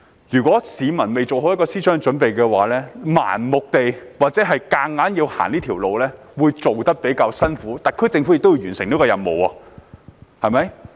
如果市民未有思想準備，盲目或強行走這條路會比較辛苦，但特區政府也要完成這項任務，對嗎？